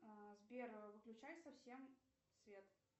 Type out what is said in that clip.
сбер выключай совсем свет